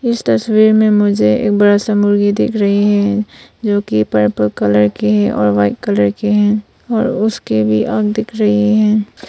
इस तस्वीर में मुझे एक बड़ी सा मुर्गी दिख रही है जो कि पर्पल कलर की है और व्हाइट कलर की है और उसकी भी आँख दिख रही है।